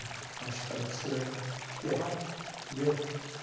Acho que cada pessoa é o que é Claro, tendeu?